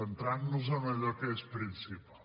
centrant nos en allò que és principal